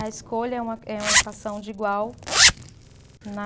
A escolha é uma, é uma equação de igual na